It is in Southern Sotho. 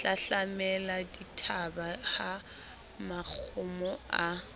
hlahlamela dithaba ha makgomo a